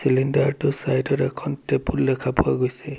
Cylinder টোৰ side ত এখন টেবুল দেখা পোৱা গৈছে।